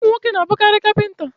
Ụmụ nwoke n'abụkarị kapịnta